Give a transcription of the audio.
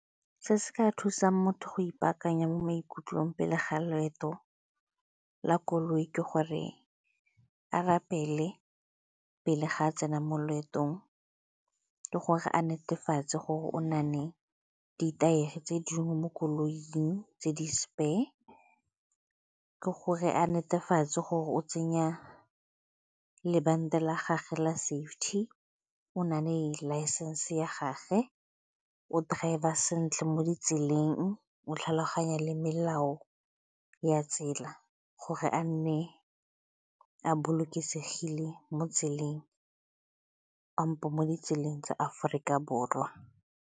Se se ka thusang motho go ipaakanya mo maikutlong pele ga loeto la koloi ke gore a re pele pele ga a tsena mo loetong, ke gore a netefatse gore o na le ditaere tse dingwe mo koloing tse di-spare, ke gore a netefatse gore o tsenya lebanta la gagwe la safety, o nang le license ya gage, o drive-a sentle mo ditseleng, o tlhaloganya le melao ya tsela gore a nne a bolokesegile mo tseleng kampo mo ditseleng tsa Aforika Borwa.